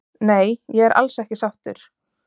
Nei ég er alls ekki sáttur